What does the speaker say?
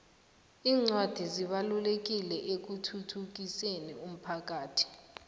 incwadi zibalulekile ekuthuthukiseni umphakhathi